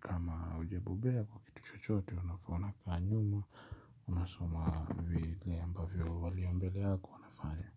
kama ujabobea kwa kitu chochote unafaana kukaa nyuma unasoma vile ambavyo waliyo mbele yako wanafanya.